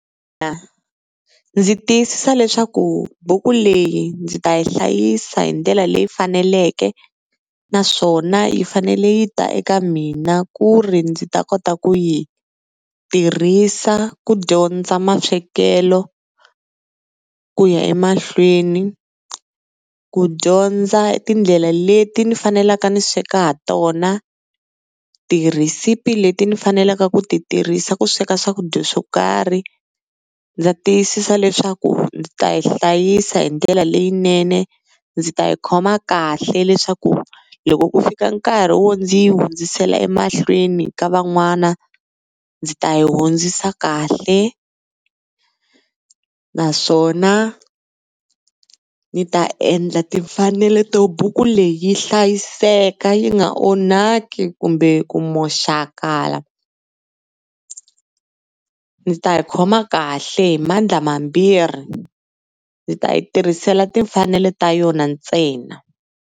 ndzi tiyisisa leswaku buku leyi ndzi ta yi hlayisa hi ndlela leyi faneleke. Naswona yi fanele yi ta eka mina ku ri ndzi ta kota ku yi tirhisa ku dyondza maswekelo ku ya emahlweni, ku dyondza tindlela leti ni faneleke ni sweka ha tona, tirhisipi leti ni faneleke ku ti tirhisa ku sweka swakudya swo karhi. Ndza tiyisisa leswaku ndzi ta yi hlayisa hi ndlela leyinene, ndzi ta yi khoma kahle leswaku loko ku fika nkarhi wo ndzi yi hundzisela emahlweni ka van'wana ndzi ta yi hundzisa kahle. Naswona ni ta endla timfanelo to buku leyi yi hlayiseka yi nga onhaki kumbe ku moxakala. Ndzi ta yi khoma kahle hi mandla mambirhi, ndzi ta yi tirhisela timfanelo ta yona ntsena.